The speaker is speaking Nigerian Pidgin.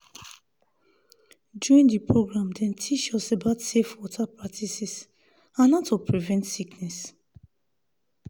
during the program dem teach us about safe water practices and how to prevent sickness.